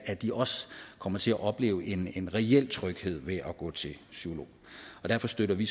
at de også kommer til at opleve en en reel tryghed ved at gå til psykolog derfor støtter vi